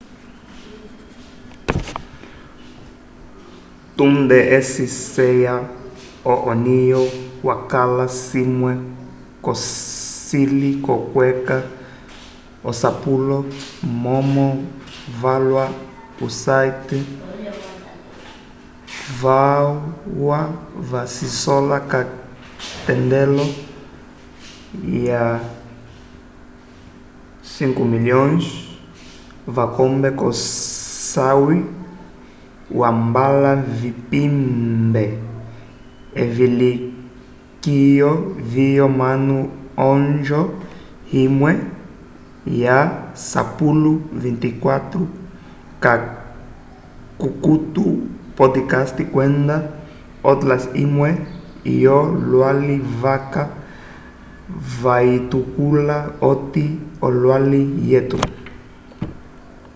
tunde eci ceya o onio yakala cimwe cocili co kweca asapulo momo valwa o site valwa va cisola ka tendelo ya 5.000.000 vakombe ko sayi ya mbala vipembe evilikiyo vyo manu onjo imwe ya sapulo 24 ka kukuto podcast kwenda otlas imwe yo lwali vaca vayitukula ati olwali weto